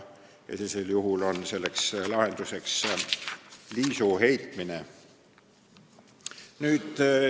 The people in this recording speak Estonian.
Sellisel juhul on lahenduseks liisu heitmine.